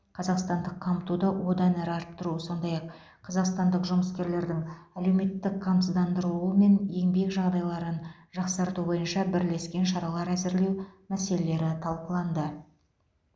қазақстандық қамтуды одан әрі арттыру сондай ақ қазақстандық жұмыскерлердің әлеуметтік қамсыздандырылуы мен еңбек жағдайларын жақсарту бойынша бірлескен шаралар әзірлеу мәселелері талқыланды